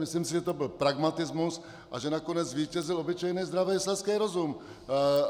Myslím si, že to byl pragmatismus a že nakonec zvítězil obyčejný zdravý selský rozum.